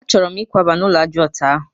A chọrọ m ikwaba n'ulo ájá ọtọ ahụ